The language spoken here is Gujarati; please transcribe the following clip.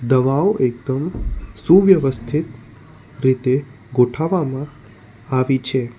દવાઓ એકદમ સુવ્યવસ્થિત રીતે ગોઠાવવામાં આવી છે.